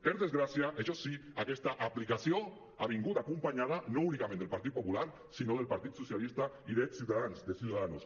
per desgràcia això sí aquesta aplicació ha vingut acompanyada no únicament del partit popular sinó del partit socialista i de ciutadans de ciudadanos